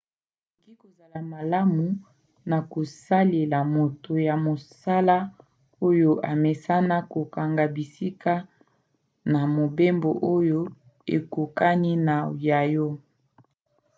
ekoki kozala malamu na kosalela moto ya mosala oyo amesana kokanga bisika na mobembo oyo ekokani na ya yo